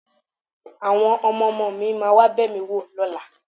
Àwọn ọmọ-ọmọ mi máa wá bẹ̀ mí wò lọ́la